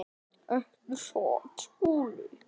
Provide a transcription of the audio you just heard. Ekki satt, Skúli?